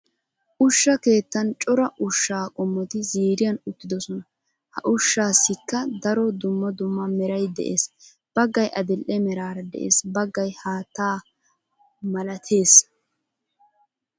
Ushsha keettan cora ushshaa qommoti ziiriyan uttidosona. Ha ushshaassikka daro dumma dumma meray de'ees. Baggay adil"e meraara de'ees, baggay haattaa malatees.